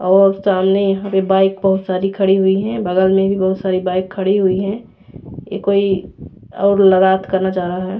और सामने यहाँ पे बाइक बहुत सारि खड़ी हुई है बगल में भी बहुत सारि बाइक खड़ी हुई है ये कोई और लगात करना चाहा रहा है ।